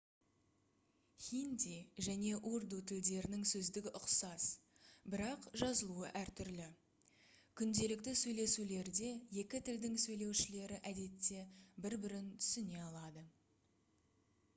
хинди және урду тілдерінің сөздігі ұқсас бірақ жазылуы әртүрлі күнделікті сөйлесулерде екі тілдің сөйлеушілері әдетте бір бірін түсіне алады